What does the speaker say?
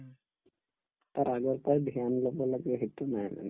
তাৰ আগৰ পাই dhyan লব লাগে সেইটো নাই মানে